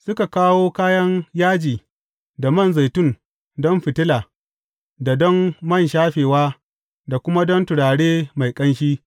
Suka kawo kayan yaji da man zaitun don fitila da don man shafewa da kuma don turare mai ƙanshi.